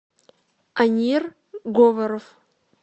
анир говоров